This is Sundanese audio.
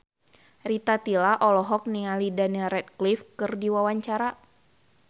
Rita Tila olohok ningali Daniel Radcliffe keur diwawancara